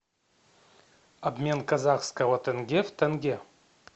обмен казахского тенге в тенге